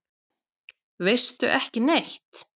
Veistu ekki neitt?